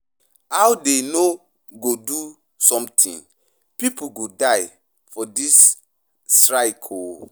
How dey no go do something, people go die for dis strike oo.